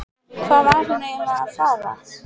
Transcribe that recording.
Hvað var hún eiginlega að fara?